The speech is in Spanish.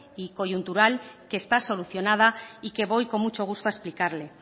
y coyuntural que está solucionada y que voy con mucho gusto a explicarle